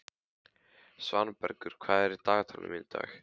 Svanbergur, hvað er á dagatalinu í dag?